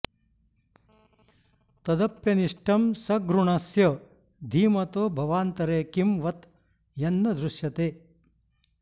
तदप्यनिष्टं सघृणस्य धीमतो भवान्तरे किं वत यन्न दृश्यते